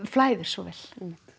flæðir svo vel